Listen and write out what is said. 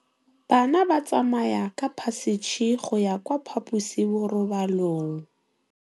Bana ba tsamaya ka phašitshe go ya kwa phaposiborobalong.